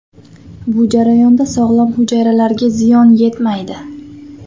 Bu jarayonda sog‘lom hujayralarga ziyon yetmaydi.